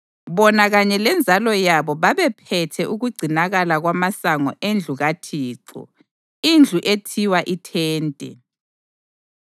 Bona kanye lenzalo yabo babephethe ukugcinakala kwamasango endlu kaThixo indlu ethiwa iThente.